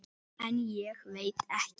En ég veit ekki.